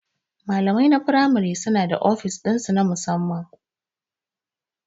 Malamai na firamare suna da ofis ɗinsu na musamman.